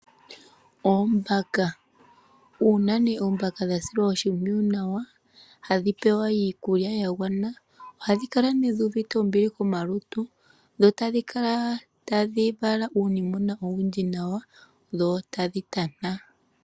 Uuna oombaka dha silwa oshimpwiyu nawa , hadhi pewa iikulya ya gwana , ohadhi kala dhi uvite ombili komalutu, dho tadhi kala tadhi vala uunimwena owundji nawa dho tadhi tana.